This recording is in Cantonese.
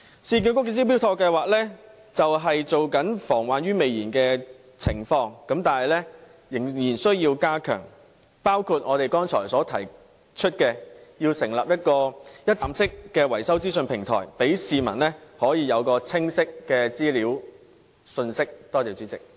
市建局的"招標妥"計劃便是防患於未然的工作，但仍然需要加強，方法包括我剛才提出成立的一站式維修資訊平台，讓市民有清晰的資料和信息。